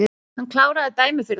Hann kláraði dæmið fyrir þá